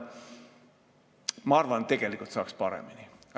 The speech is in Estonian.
Ma arvan, et tegelikult saaks paremini.